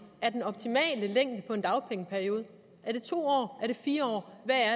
er den optimale længde på en dagpengeperiode er det to år er det fire